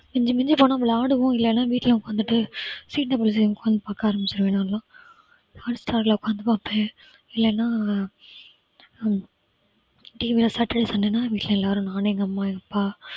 மிஞ்சி மிஞ்சி போனா விளையாடுவோம் இல்லன்னா வீட்ல உக்காந்துட்டு பார்க்க ஆரமிச்சுடுவான் நான்லாம். அடுத்த hall ல உக்காந்து பார்ப்பேன் இல்லன்னா saturday sunday னா வீட்ல எல்லாரும் நான் எங்க அம்மா எங்க அப்பா